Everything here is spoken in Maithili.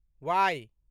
वाइ